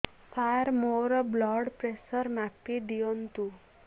ସାର ମୋର blood pressure ମାପି ଦିଅନ୍ତୁ